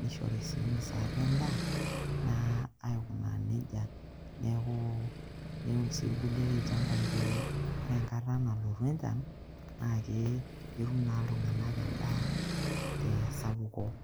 nishori sii msaada endaa naa aikunaa neija. Neeku ilim naa irkuliek ilchambai pee kore enkata nalotu enchan netum iltung'anak endaa te sapuko.